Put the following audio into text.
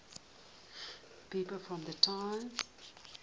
people from trier